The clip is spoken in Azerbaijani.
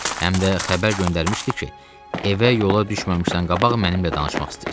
Həm də xəbər göndərmişdi ki, evə yola düşməmişdən qabaq mənimlə danışmaq istəyir.